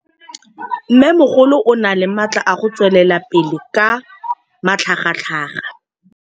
Mmêmogolo o na le matla a go tswelela pele ka matlhagatlhaga.